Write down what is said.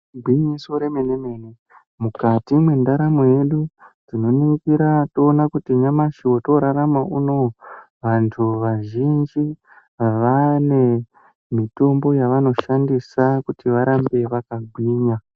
Gwinyiso remene-mene mukati mendaramo yedu, tinoningira toona kuti nyamashi votorarana unouyu vantu vazhinji vane mitombo yavanoshandisa kuti varambe vakagwinya.